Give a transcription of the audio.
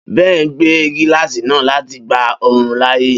Ben gbe gilasi naa lati gba oorun laaye